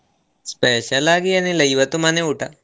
Special ಆಗಿ ಏನೂ ಇಲ್ಲಾ ಇವತ್ತು ಮನೆ ಊಟ.